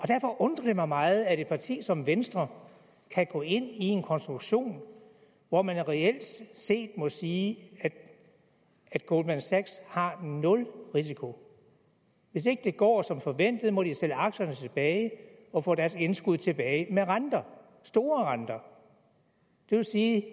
derfor undrer det mig meget at et parti som venstre kan gå ind i en konstruktion hvor man reelt set må sige at goldman sachs har nul risiko hvis ikke det går som forventet må de sælge aktierne tilbage og få deres indskud tilbage med renter store renter det vil sige at